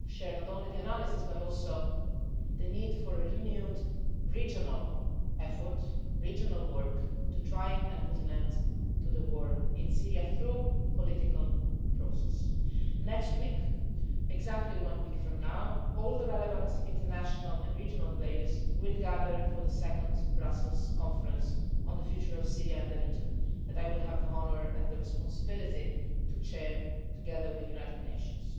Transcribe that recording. not only our analysis, but also the need for a renewed regional effort in order to try to put an end to the war in Syria through a political process. Next week, exactly one week from now, all the relevant international and regional players will gather for the second Brussels Conference on the future of Syria and the region, which I will have the honour and the responsibility to chair, together with the United Nations.